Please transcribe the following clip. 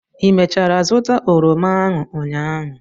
ị mechara zụta oroma ahụ ụnyaahụ?